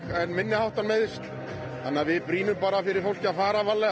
en minniháttar meiðsl brýnum fyrir fólki að fara varlega